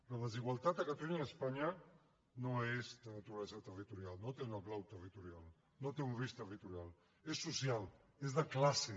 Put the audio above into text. la desigualtat a catalunya i a espanya no és de naturalesa territorial no té una clau territorial no té un risc territorial és social és de classe